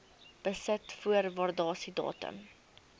besit voor waardasiedatum